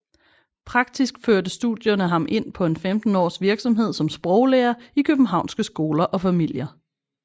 Praktisk førte studierne ham ind på en 15 års virksomhed som sproglærer i københavnske skoler og familier